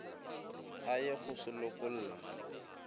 a ye go se lokolla